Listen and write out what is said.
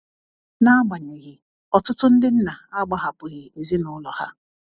na agbanyeghi ,ọtụtu ndi nna agbahapughi ezinulọ ha.